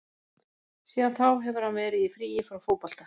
Síðan þá hefur hann verið í fríi frá fótbolta.